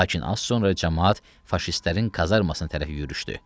Lakin az sonra camaat faşistlərin kazarmasına tərəf yürüşdü.